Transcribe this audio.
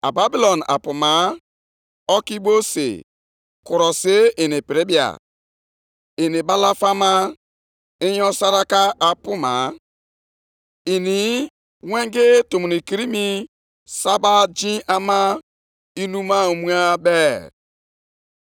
Nʼihi na lee, agaje m ime ka ndị Kaldịa bilie, bụ mba ahụ na-adịghị eme ebere, na ndị na-eme ngwangwa. Ha bụ ndị na-ebu agha na-ejegharị na mba niile, ndị na-esite nʼaka ike na-enweta ebe obibi nke na-abụghị nke ha.